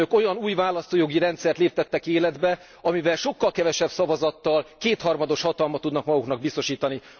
Önök olyan új választójogi rendszert léptettek életbe, amelyben sokkal kevesebb szavazattal kétharmados hatalmat tudnak maguknak biztosítani.